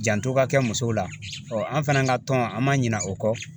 Janto ka kɛ musow la an fana ka tɔn an man ɲina o kɔ.